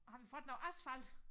Har vi fået noget asfalt